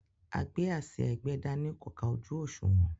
agbé-àsìá-ẹgbẹ́-dání kò ká ojú òṣùwọ̀n.